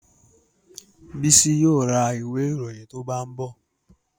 Bísí yóò ra ìwé ìròyìn tó bá ń bọ̀